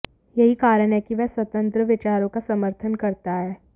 यही कारण है कि वह स्वतंत्र विचारों का समर्थन करता है